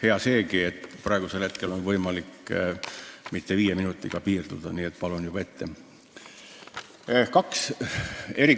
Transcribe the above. Hea seegi, et praegusel hetkel ei pea viie minutiga piirduma, nii et palun juba ette lisaaega!